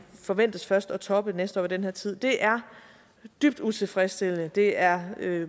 forventes først at toppe næste år ved den her tid det er dybt utilfredsstillende det er